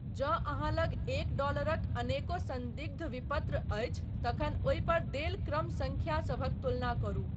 जँ अहाँ लग एक डॉलरक अनेको संदिग्ध विपत्र अछि तखन ओहि पर देल क्रम सङ्ख्या सभक तुलना करू।